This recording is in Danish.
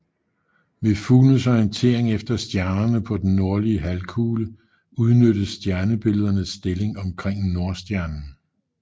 Ved fuglenes orientering efter stjernerne på den nordlige halvkugle udnyttes stjernebilledernes stilling omkring Nordstjernen